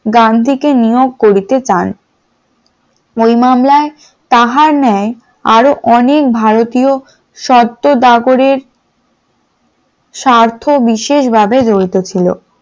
গান্ধীকে নিয়োগ করিতে চান। ওই মামলায় তাহার ন্যায় আরো অনেক ভারতীয় শর্ত দাবরের স্বার্থ বিশেষভাবে জড়িত ছিল ।